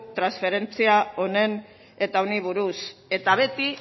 transferentzia honen eta honi buruz eta beti